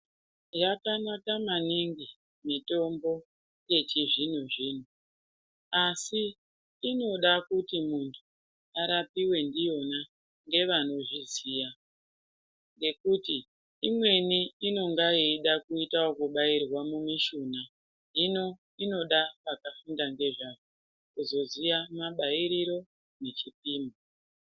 Yakanaka maningi mitombo yechi zvino zvino asi inoda kuti muntu arapiwe ndiyona ngevano zviziya nekuti imweni inonga yeida kuita yeku bairwa mu mishuna hino inoda vakafunda nge zvazvo kuzo ziya mabairiro ne chipimo.